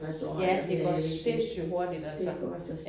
Ja det går sindssygt hurtigt altså